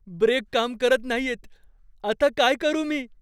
Break काम करत नाहीयेत. आता काय करू मी?